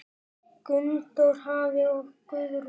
Gunndór afi og Guðrún.